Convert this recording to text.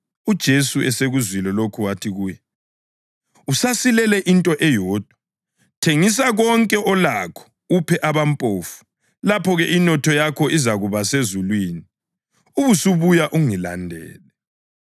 UJesu esekuzwile lokho wathi kuye, “Usasilele into eyodwa. Thengisa konke olakho uphe abampofu, lapho-ke inotho yakho izakuba sezulwini. Ubusubuya ungilandele.”